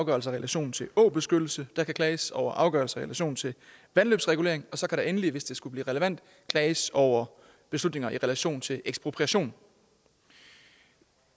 afgørelser i relation til åbeskyttelse der kan klages over afgørelser i relation til vandløbsregulering og så kan der endelig hvis det skulle blive relevant klages over beslutninger i relation til ekspropriation